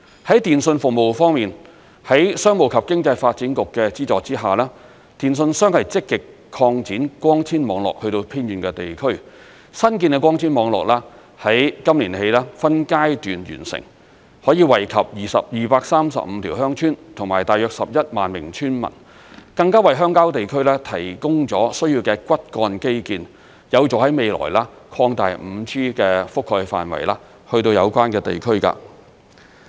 在電訊服務方面，在商務及經濟發展局的資助下，電訊商積極擴展光纖網絡至偏遠地區，新建的光纖網絡於今年起分階段完成，可以惠及235條鄉村及大約11萬名村民，更加為鄉郊地區提供了需要的骨幹基建，有助未來擴大 5G 的覆蓋範圍至有關地區。